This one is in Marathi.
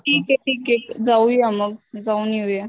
ठीके ठीके जाऊया मग, जाऊन येऊया.